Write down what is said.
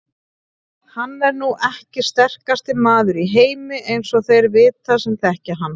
Hann er nú ekki sterkasti maður í heimi eins og þeir vita sem þekkja hann.